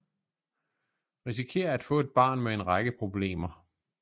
Risikerer at få et barn med en række problemer